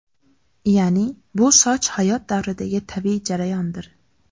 Ya’ni, bu soch hayot davridagi tabiiy jarayondir.